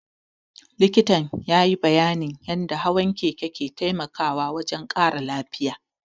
Likitan ya yi bayyanin yadda hawan keke ke taimakawa wajen ƙara lafiya